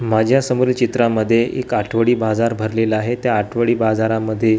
माझ्यासमोर चित्रामध्ये एक आठवडी बाजार भरलेला आहे त्या आठवडी बाजारामध्ये --